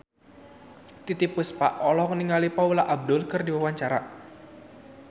Titiek Puspa olohok ningali Paula Abdul keur diwawancara